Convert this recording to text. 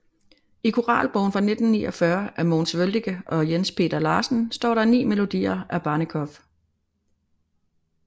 I Koralbogen fra 1949 af Mogens Wøldike og Jens Peter Larsen står der 9 melodier af Barnekow